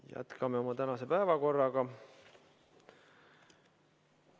Jätkame tänast päevakorda.